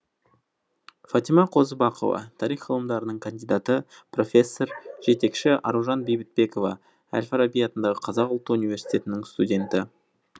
фатима қозыбақова тарих ғылымдарының кандидаты профессор жетекшіаружан бейбітбекова әл фараби атындағы қазақ ұлттық университетінің студенті